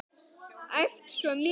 Æft svo mikið.